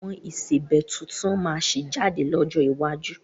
Àwọn ìsebẹ́ tuntun máa sì jáde lọ́jọ́ iwájú